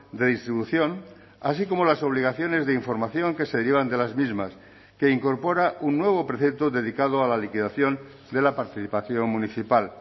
de distribución así como las obligaciones de información que se derivan de las mismas que incorpora un nuevo precepto dedicado a la liquidación de la participación municipal